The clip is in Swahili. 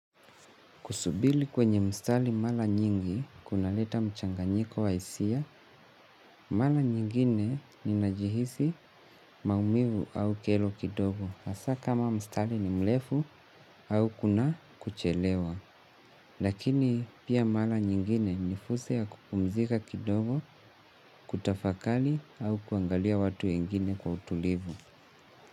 Kusubiri kwenye mstari mara nyingi, kunaleta mchanganyiko wa hisia, mara nyingine ninajihisi maumivu au kero kidogo, hasa kama mstari ni mrefu au kuna kuchelewa. Lakini pia mara nyingine nifursa ya kupumzika kidogo, kutafakari au kuangalia watu wengine kwa utulivu.